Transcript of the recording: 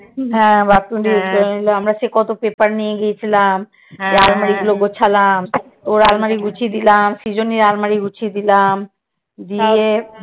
হ্যাঁ bathroom টা use করে নিলো আমরা সে কত paper নিয়ে গেছিলাম। আলমারি গুলো গোছালাম। তোর আলমারি গুছিয়ে দিলাম। সৃজনীর আলমারি গুছিয়ে দিলাম। দিয়ে